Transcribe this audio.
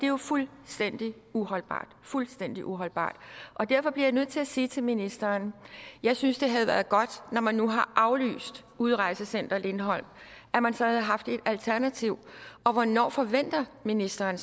jo fuldstændig uholdbart fuldstændig uholdbart derfor bliver jeg nødt til at sige til ministeren jeg synes det havde været godt når man nu har aflyst udrejsecenter lindholm at man så havde haft et alternativ og hvornår forventer ministeren